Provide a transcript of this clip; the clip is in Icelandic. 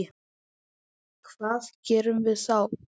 Hvað, hvað gerum við þá?